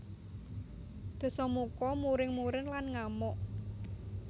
Dasamuka muring muring lan ngamuk